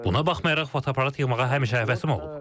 Buna baxmayaraq fotoaparat yığmağa həmişə həvəsim olub.